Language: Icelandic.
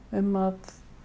um að